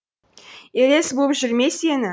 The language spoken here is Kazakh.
елес буып жүр ме сені